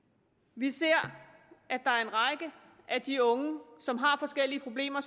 vi ser at der er en række af de unge som har forskellige problemer